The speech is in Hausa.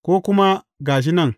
Ko kuma, Ga shi nan!’